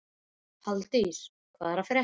Halldís, hvað er að frétta?